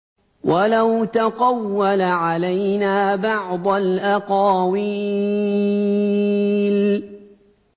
وَلَوْ تَقَوَّلَ عَلَيْنَا بَعْضَ الْأَقَاوِيلِ